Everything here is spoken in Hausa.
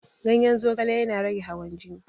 Ganyen zogale yana rage hawan jini